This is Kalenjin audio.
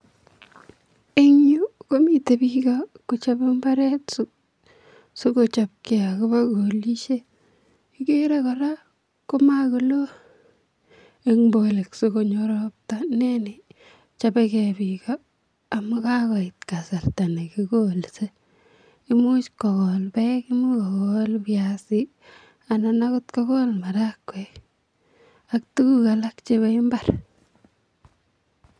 Eng yuu komiten biik kochobe mbaret sikochopkee akobo kolishet, kikere kora komokoloo eng' bolik sikonyo robta inee nii chobeke biik amun kakoit kasarta nekikolse, imuch kokol beek, imuch kokol biasi anan okot kokol marakwek ak tukuk alak chebo imbar.